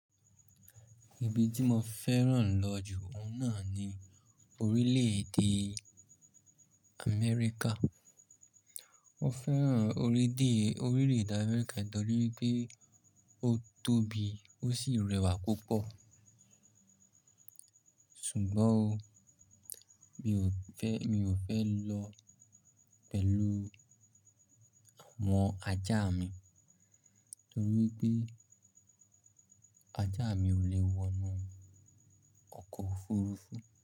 Ibi tí mo fẹ́ràn lọ jù óun náà ni Orílẹ̀-èdè Amẹ́ríkà. Mo fẹ́ràn orílẹ̀-èdè Amẹ́ríkà nítorí wipé ó tóbi ó sì rẹwà púpọ̀. Ṣùgbọ́n o, mi ò fẹ́, mi ò fẹ́ lọ pẹ̀lú àwọn ajá mi nítorí pé ajá mi ò lè wọnú ọkọ̀ òfurufú.